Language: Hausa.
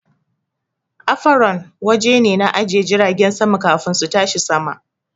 Afaron waje ne na ajiye jiragen sama kafin su tashi sama